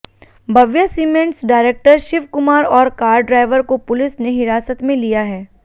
Bhavya cements director Shiv Kumar और car driver को police ने हिरासत में लिया है